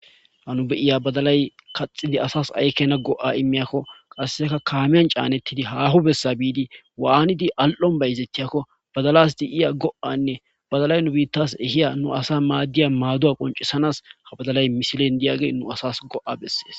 Ha nu be'ya badalay kaxidi asas ay keena go'a imiyakko qasseka kaamen caanetidi haho bessa bidi waanidi al'on bayzetiyakko badala de7iya go'anne badalay nu biitas ehiya asa maadiya maaduwa qonccisanas ha badalay misilen de'iyage nu asas go'a besees.